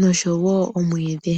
nosho woo omwiidhi.